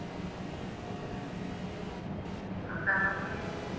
ਪੜਦਾ ਕਰ ਦੇਵਾ